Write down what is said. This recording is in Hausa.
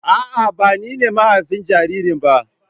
A'a, ba ni ne mahafin jaririn ba.